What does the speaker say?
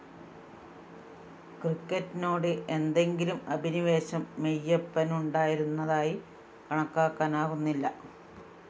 ക്രിക്കറ്റിനോട് എന്തെങ്കിലും അഭിനിവേശം മെയ്യപ്പനുണ്ടായിരുന്നതായി കണക്കാക്കാനാകുന്നില്ല